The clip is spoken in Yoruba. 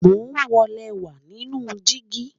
Mo wọ lẹwa nínú dígì